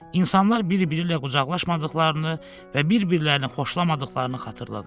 İnsanlar bir-biriylə qucaqlaşmadıqlarını və bir-birini xoşlamadıqlarını xatırladılar.